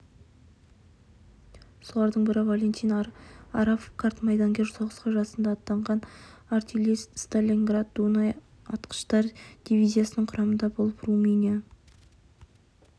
солардың бірі валентин арапов қарт майдангер соғысқа жасында аттанған артиллерист сталинград-дунай атқыштар дивизиясының құрамында болып румыния